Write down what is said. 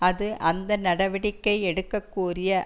அது அந்த நடவடிக்கை எடுக்க கோரிய